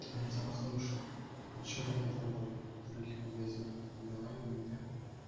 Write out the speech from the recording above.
я тебя услышал а что до этого то в других магазинах не давали нигде